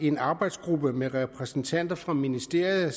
en arbejdsgruppe med repræsentanter fra ministeriet og